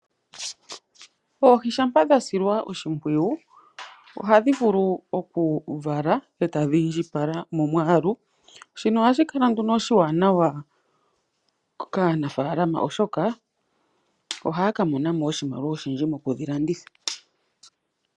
Oohi shampa dhasilwa oshimpwiyu ohadhi vulu okuvala e tadhi indjipala momwaalu, shino ohashi kala nduno oshiwanawa kaanafaalama oshoka, ohaya kamonamo oshimaliwa oshindji mokudhilanditha.